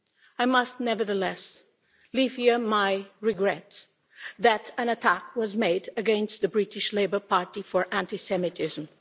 I must, nevertheless, leave here my regret that an attack was made against the British Labour Party for anti Semitism.